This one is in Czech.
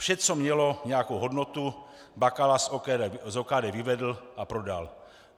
Vše, co mělo nějakou hodnotu, Bakala z OKD vyvedl a prodal.